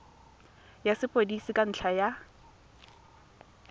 ya sepodisi ka ntlha ya